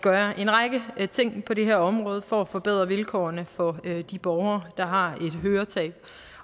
gøre en række ting på det her område for at forbedre vilkårene for de borgere der har et høretab